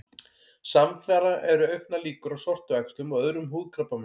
Samfara eru auknar líkur á sortuæxlum og öðrum húðkrabbameinum.